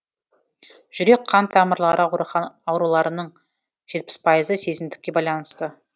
жүрек қан тамырлары ауруларының жетпіс пайызы семіздікке байланысты